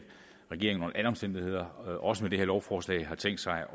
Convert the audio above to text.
regeringen under alle omstændigheder også med det her lovforslag har tænkt sig